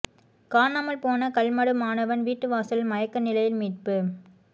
காணாமல் போன கல்மடு மாணவன் வீட்டு வாசலில் மயக்க நிலையில் மீட்பு